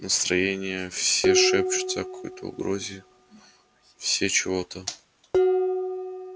настроения все шепчутся о какой-то угрозе все чего-то